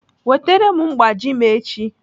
Wetere m mgbaji m echi!